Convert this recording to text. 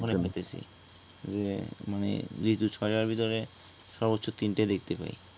মানে ঋতু ছয়টার ভিতরে সর্বোচ্চ তিনটা দেখতে পায়